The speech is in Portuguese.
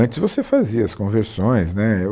Antes você fazia as conversões, né eu